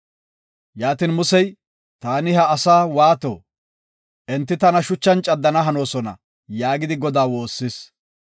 Yaatin Musey, “Taani ha asaa waato? Enti tana shuchan caddana hanoosona” yaagidi Godaa woossis.